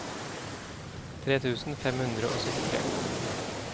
tre tusen fem hundre og syttitre